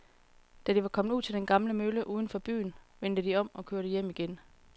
Da de var kommet ud til den gamle mølle uden for byen, vendte de om og kørte hjem igen.